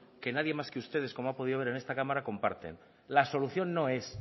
que nadie más que ustedes como ha podido ver en esta cámara comparten la solución no es